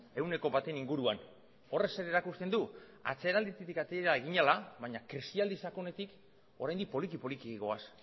ehuneko baten inguruan horrek zer erakusten du atzeralditik ateratzen ari ginela baina krisialdi sakonetik oraindik poliki poliki goaz